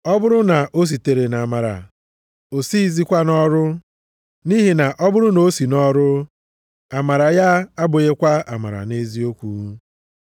Ọ bụrụ na o sitere nʼamara, o sighịzikwa nʼọrụ. Nʼihi na ọ bụrụ na o si nʼọrụ, amara ya abụghịkwa amara nʼeziokwu.